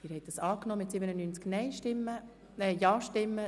Sie haben den Abänderungsantrag angenommen.